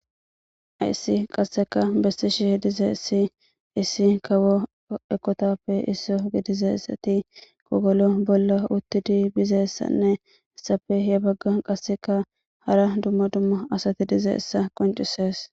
Ayssi qasseka bestishih dize issi issi kawo ekotappe isso gidizessati kogolo bolla uttidi bizeessanne issappe ye bagga qasseka hara dumma dumma asati dizeessa qoncisees